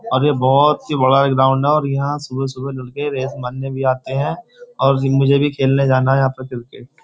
और यह बहुत ही बड़ा ग्राउंड है और यहां सुबह-सुबह लड़के रेस मारने भी आते हैं और मुझे भी खेलने जाना है यहां पर क्रिकेट --